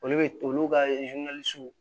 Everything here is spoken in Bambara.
Olu bɛ olu ka